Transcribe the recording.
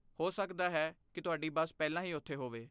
ਹੋ ਸਕਦਾ ਹੈ ਕਿ ਤੁਹਾਡੀ ਬੱਸ ਪਹਿਲਾਂ ਹੀ ਉੱਥੇ ਹੋਵੇ।